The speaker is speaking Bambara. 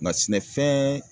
Nka sɛnɛfɛɛn